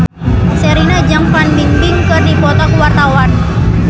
Sherina jeung Fan Bingbing keur dipoto ku wartawan